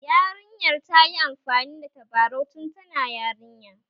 Yarinyar ta yi amfani da tabarau tun tana yarinya